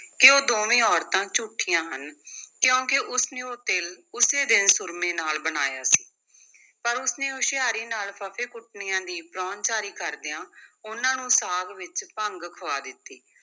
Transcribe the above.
ਕਿ ਉਹ ਦੋਵੇਂ ਔਰਤਾਂ ਝੂਠੀਆਂ ਹਨ ਕਿਉਂਕਿ ਉਸ ਨੇ ਉਹ ਤਿਲ ਉਸੇ ਦਿਨ ਸੁਰਮੇ ਨਾਲ ਬਣਾਇਆ ਪਰ ਉਸ ਨੇ ਹੁਸ਼ਿਆਰੀ ਨਾਲ ਫੱਫੇਕੁੱਟਣੀਆਂ ਦੀ ਪ੍ਰਾਹੁਣਾਚਾਰੀ ਕਰਦਿਆਂ ਉਨ੍ਹਾਂ ਨੂੰ ਸਾਗ ਵਿੱਚ ਭੰਗ ਖੁਆ ਦਿੱਤੀ।